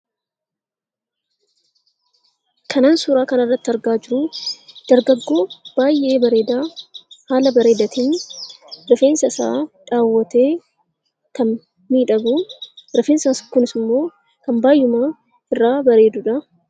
Kan an suuraa kana irratti argaa jiru dargaggoo baay'ee bareedaa haala bareedaatiin rifeensa isaa dhawatee kan miidhagu, rifeensi isaa kunis immoo kan baay'eema irraa bareeduu dha.